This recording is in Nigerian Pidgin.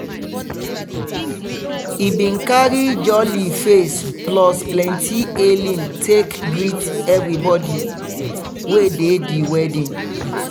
he bin carry jolly face plus plenti hailing take greet everbodi wey dey di wedding.